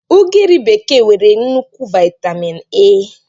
Ugiri bekee nwere nnukwu vaitamin A.